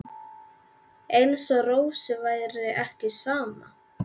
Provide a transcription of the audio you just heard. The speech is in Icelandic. Eins og Rósu væri ekki sama.